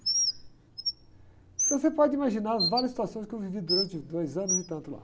Então você pode imaginar as várias situações que eu vivi durante dois anos e tanto lá.